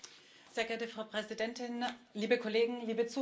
Frau Präsidentin, liebe Kollegen, liebe Zuhörer!